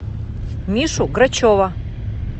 мишу грачева